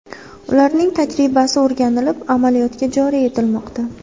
Ularning tajribasi o‘rganilib, amaliyotga joriy etilmoqda.